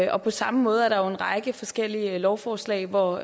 og på samme måde er der en række forskellige lovforslag hvor